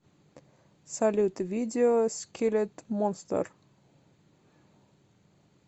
салют видео скиллет монстер